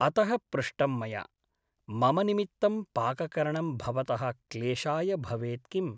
अतः पृष्टं मया । मम निमित्तं पाककरणं भवतः क्लेशाय भवेत् किम् ?